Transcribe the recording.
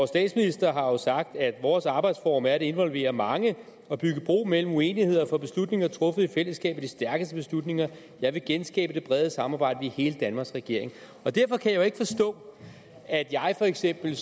statsminister har jo sagt vores arbejdsform er at involvere mange og at bygge bro mellem uenigheder for beslutninger truffet i fællesskab er de stærkeste beslutninger jeg vil genskabe det brede samarbejde vi er hele danmarks regering derfor kan jeg jo ikke forstå at jeg for eksempel